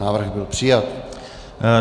Návrh byl přijat.